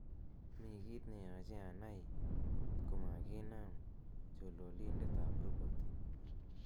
mi kiit neyoche anai komaginam chololindet ab robot ii